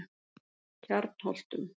Kjarnholtum